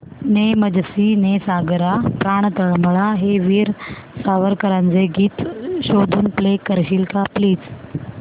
ने मजसी ने सागरा प्राण तळमळला हे वीर सावरकरांचे गीत शोधून प्ले करशील का प्लीज